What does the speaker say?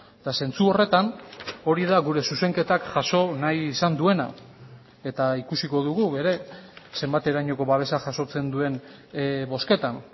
eta zentsu horretan hori da gure zuzenketak jaso nahi izan duena eta ikusiko dugu ere zenbaterainoko babesa jasotzen duen bozketan